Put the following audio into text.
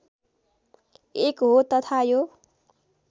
एक हो तथा यो